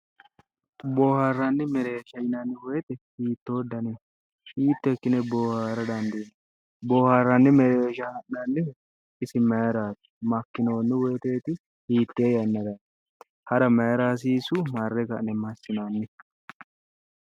Booharani mereersha yineemmo woyte hiitto danni no, hiitto ikkine boohara dandiinanni, booharanni mereersha la'nannihu isi maarati, makkinoni woyiteti ,hiitte yannarati, ha'ra maayira hasiisu, marre ka'ne maa assinanni ?